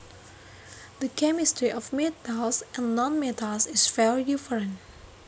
The chemistry of metals and nonmetals is very different